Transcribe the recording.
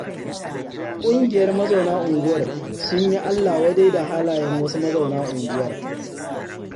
Ƙungiyar mazauna unguwar sun yi Allah wadai da halayen wasu mazauna unguwar